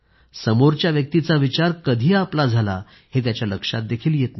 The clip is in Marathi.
समोरच्या व्यक्तीचा विचार कधी आपला झाला हे त्याच्या लक्षातही येत नाही